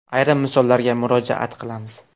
Ayrim misollarga murojaat qilamiz.